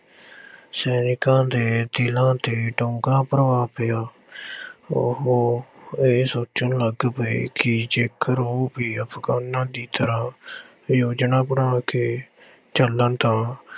ਸੈਨਿਕਾਂ ਦੇ ਦਿਲਾਂ ਤੇ ਡੂੰਘਾ ਪ੍ਰਭਾਵ ਪਿਆ ਉਹ ਇਹ ਸੋਚਣ ਲੱਗ ਪਏ ਕਿ ਜੇਕਰ ਉਹ ਵੀ ਅਫਗਾਨਾਂ ਦੀ ਤਰ੍ਹਾਂਂ ਯੋਜਨਾ ਬਣਾ ਕੇ ਚੱਲਣ ਤਾਂ